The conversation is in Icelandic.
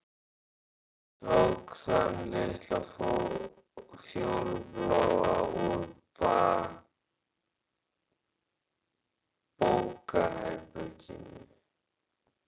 Ég tók þann litla fjólubláa úr bókaherberginu.